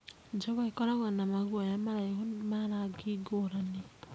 Njogoo ĩkoragwo na maguoya maraihu ma marangi ngũrani.